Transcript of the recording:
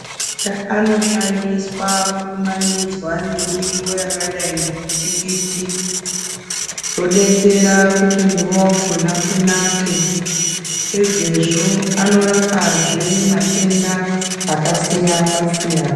Nda anoshandiswa kukumanidzwa ngemuriwo wakadai nemutiki zvodetsera kuti muriwo wakona unake pedzesvo anorapazve matenda akasiyana siyana